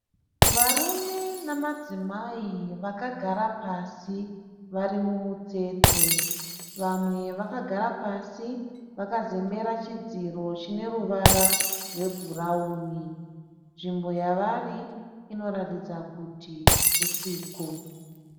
Varume nemadzimai vakagara pasi vari mumutsetse. Vamwe vakagara pasi vakazembera chidziro chine ruvara rwebhurawuni. Nzvimbo yavari inoratidza kuti husiku.